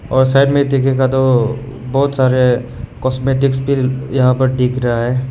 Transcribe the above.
और साइड में देखेगा तो बहुत सारे कॉस्मेटिक्स भी यहां पर दिख रहा है।